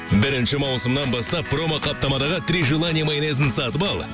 бірінші маусымнан бастап промоқаптамадағы три желания майонезін сатып ал